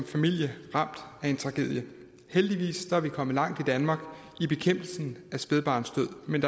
familien ramt af en tragedie heldigvis er vi kommet langt i danmark i bekæmpelsen af spædbarnsdød men